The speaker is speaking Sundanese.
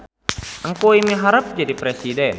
Engkuy miharep jadi presiden